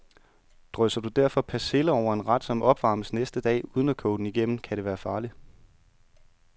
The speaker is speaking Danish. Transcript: Drysser du derfor persille over en ret, som opvarmes næste dag, uden at koge den igennem, kan det være farligt.